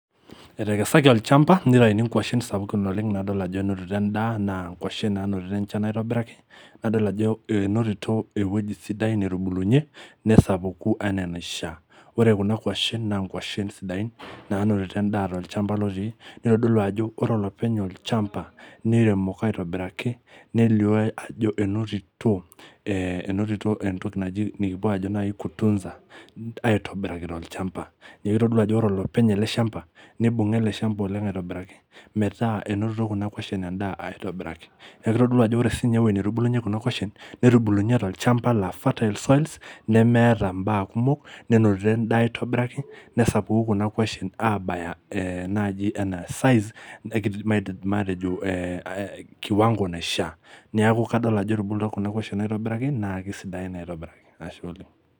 Etekesaki olchamba nitayuni inkuashen sapukin oleng' nadol ajo enonito endaa, naa inkuashen nainotito enjan aitobiraki nadol ajo enotito ewoji sidai netubulunyie nesapuku enaa enaishaa. Ore kuna kwashen naa nkuashen sidain naanotito endaa tol'chamba lotii nitodolu ajo ore olopeny olchamba niremoko aitobiraki nelio ajo enotito ee nikipo aajo tunza aitobiraki tol'chamba, neeku kitodolu ajo ore olopeny ele shamba nibunga oleng' ele shamba aitobiraki metaa enotito kuna kwashen endaa aitobiraki. Neeku kitodolu ajo ore sininje ewoji netubulunyie kuna kwashen, netubulunyie tol'chamba laa fertile soil neeta imbaa kumok nenotito endaa aitobiraki nesapuku kuna kwashen abaya we naaji matejo kiwango naishaa. Neeku kadol ajo etubulutua kuna kwashen aitibiraki naa kesidain aitobiraki.